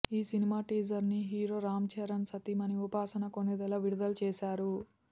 ఈ సినిమా టీజర్ని హీరో రామ్చరణ్ సతీమణి ఉపాసన కొణిదెల విడుదల చేశారు